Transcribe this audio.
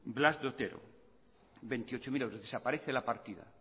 blas de otero veintiocho mil euros